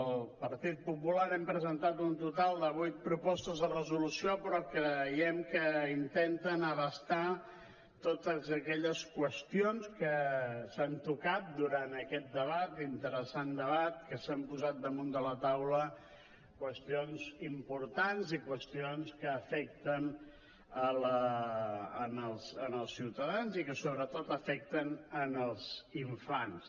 el partit popular hem presentat un total de vuit propostes de resolució però creiem que intenten abastar totes aquelles qüestions que s’han tocat durant aquest debat interessant debat en què s’han posat damunt de la taula qüestions importants i qüestions que afecten els ciutadans i que sobretot afecten els infants